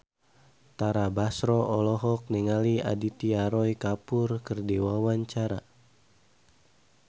Tara Basro olohok ningali Aditya Roy Kapoor keur diwawancara